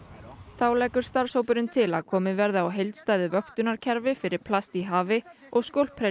þá leggur starfshópurinn til að komið verði á heildstæðu vöktunarkerfi fyrir plast í hafi og